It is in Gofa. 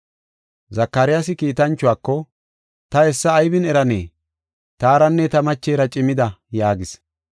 Zakaryaasi kiitanchuwako, “Ta hessa aybin eranee? Taaranne ta machera cimida” yaagis.